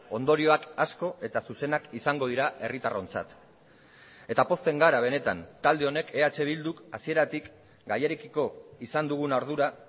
ondorioak asko eta zuzenak izango dira herritarrontzat eta pozten gara benetan talde honek eh bilduk hasieratik gaiarekiko izan dugun ardura